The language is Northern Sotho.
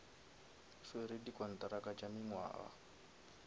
swere di kontraka tša mengwaga